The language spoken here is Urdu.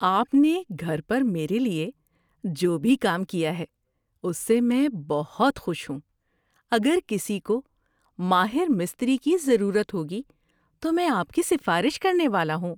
آپ نے گھر پر میرے لیے جو بھی کام کیا ہے اس سے میں بہت خوش ہوں۔ اگر کسی کو ماہر مستری کی ضرورت ہوگی تو میں آپ کی سفارش کرنے والا ہوں۔